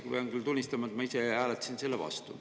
Pean küll tunnistama, et ma ise hääletasin selle vastu.